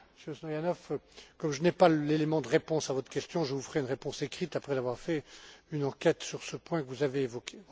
pays. Monsieur Stoyanov, comme je n'ai pas d'élément de réponse à votre question, je vous ferai une réponse écrite après avoir fait une enquête sur le point que vous avez